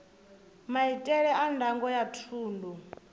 maitele a ndango ya thundu